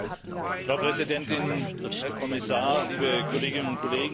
Frau Präsidentin, Herr Kommissar, liebe Kolleginnen und Kollegen!